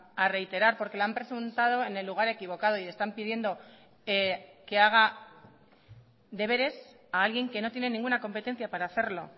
a reiterar porque lo han presentado en el lugar equivocado y le están pidiendo que haga deberes a alguien que no tiene ninguna competencia para hacerlo